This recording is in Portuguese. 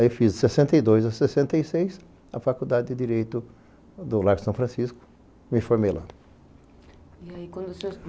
Aí fiz de sessenta e dois a sessenta e seis a Faculdade de Direito do Largo São Francisco e me formei lá.